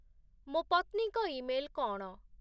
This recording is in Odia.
ମୋ ପତ୍ନୀଙ୍କ ଇମେଲ୍ କ’ଣ?